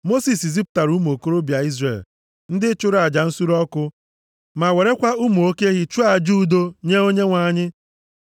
Mosis zipụtara ụmụ okorobịa Izrel, ndị chụrụ aja nsure ọkụ ma werekwa ụmụ oke ehi chụọ aja udo nye Onyenwe anyị.